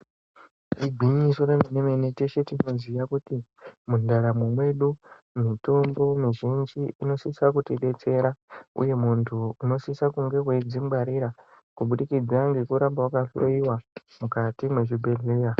Igwinyiso remenemene teshe tinoziya kuti mundaramo mwedu mitombo mizhinji inosisa kutidetsera uye muntu unosisa kunge weidzingwarira kubudikidza ngekuramba wakahloyiwa mukati mwezvibhehleya.